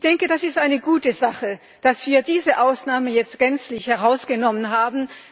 Ich denke, dass es eine gute Sache ist, dass wir diese Ausnahme jetzt gänzlich herausgenommen haben.